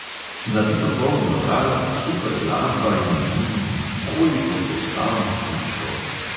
Nabito poln lokal, super glasba in mmm … koliko postavnih tipčkov!